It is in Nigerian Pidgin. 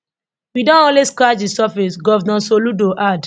we don only scratch di surface govnor soludo add